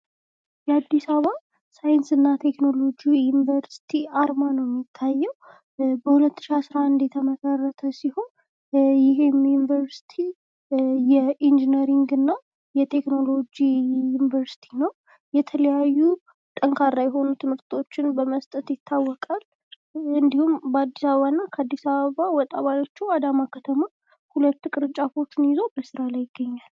የአዲስ አበባ ሳይንስና ቴክኖሎጂ ዩንቨርስቲ አርማ ነው የሚታየው ፤ በሁለት ሺ አስራ አንድ የተመሰረተ ሲሆን ፣ ይህም ዩንቨርስቲ የኢንጂነሪንግ እና የቴክኖሎጂ ዩንቨርስቲ ነው ፤ የተለያዩ ጠንካራ የሆኑ ትምህርቶችን በመስጠት ይታወቃል ፤ እንዲሁም በአዲስ አበባ እና ከአዲስ አበባ ወጣ ባለሽዉ አዳማ ከተማ ሁለት ቅርንጫፎቹን ይዞ ይገኛል።